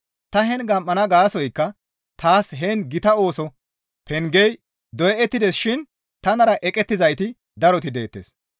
Ta heen gam7ana gaasoykka taas heen gita ooso pengey doyettides shin tanara eqettizayti daroti deettes.